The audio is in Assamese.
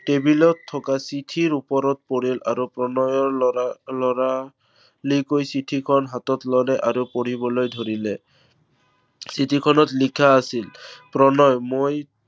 টেবুলত থকা চিঠিৰ ওপৰত পৰিল। প্ৰণয়ে লৰা~লৰালৰিকৈ চিঠিখন হাতত ললে আৰু পঢ়িবলৈ ধৰিলে। চিঠিখনত লিখা আছিল, প্ৰণয় মই